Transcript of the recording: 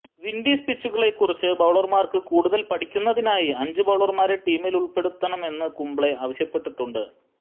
Windies പിച്ചുകളെ കുറിച്ച് ബൌളര്മാര്ക്ക് കൂടുതല് പഠിക്കുന്നതിനായി അഞ്ചു ബൌളര്മാരെ ടീമിലുള്പ്പെടുത്തണമെന്നു കുംബ്ലെ ആവശ്യപ്പെട്ടിട്ടുണ്ട്